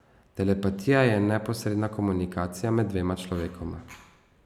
Telepatija je neposredna komunikacija med dvema človekoma.